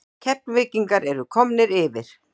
KEFLVÍKINGAR ERU KOMNIR YFIR!!!